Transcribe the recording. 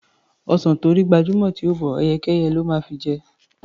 Ọsàn tó rí gbajúmọ̀ tí ò bọ́, ẹyẹkẹ́yẹ ló máa fi jẹ.